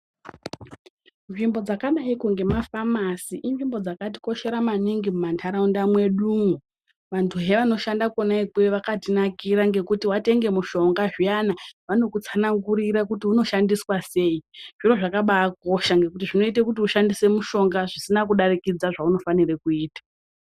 Nzvimbo dzakadaiko ngemafamasi, inzvimbo dzakatikoshera maningi mumantaraunda mwedumwo. Vantuhe vanoshanda kona ikweyo vakatinakira ngekuti watenge mushonga zviyana, vanokutsanangurira kuti unoshandiswa sei. Zviro zvakabakosha ngekuti zvinoite kuti ushandise mushonga zvisina kudarikidza zvaunofanire kuita.